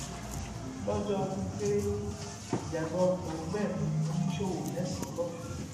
lọjọ ọdún kérésì ìjàgbá ọkọ gbẹmí oníṣòwò mẹsànán lọsùn